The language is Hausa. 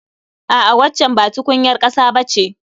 A'a waccan ba tukunyar ƙasa ba ce